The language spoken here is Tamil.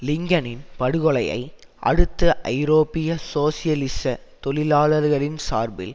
லிங்கனின் படுகொலையை அடுத்து ஐரோப்பிய சோசியலிச தொழிலாளர்களின் சார்பில்